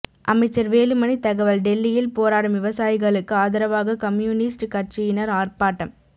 அமைச்சர் வேலுமணி தகவல் டெல்லியில் போராடும் விவசாயிகளுக்கு ஆதரவாக கம்யூனிஸ்ட் கட்சியினர் ஆர்ப்பாட்டம்